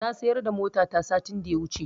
Na sayar da motata satin da yawuce